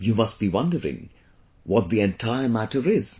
You must be wondering what the entire matter is